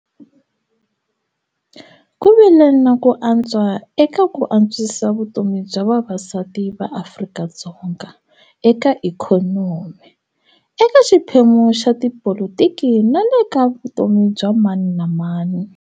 Ku vile na ku antswa eka ku antswisa vutomi bya vavasati va Afrika-Dzonga eka ikhonomi, eka xiphemu xa tipolotiki na le ka vutomi bya mani na mani.